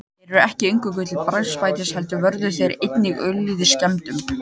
Þeir voru ekki eingöngu til bragðbætis heldur vörðu þeir einnig ölið skemmdum.